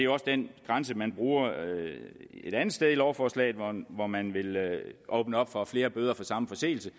også den grænse man bruger et andet sted i lovforslaget hvor man vil åbne op for at flere bøder for samme forseelse